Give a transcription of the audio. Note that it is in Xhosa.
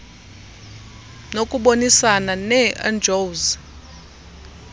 nokubonisana nee ngos